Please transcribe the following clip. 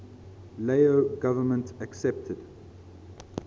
lao government accepted